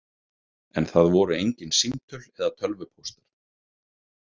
En það voru engin símtöl eða tölvupóstar.